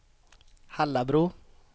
Hallabro